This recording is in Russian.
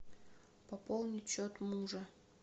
пополнить счет мужа